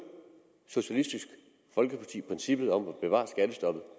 socialistisk folkeparti princippet om at bevare skattestoppet